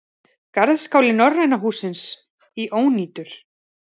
Garðskáli Norræna hússins í ónýtur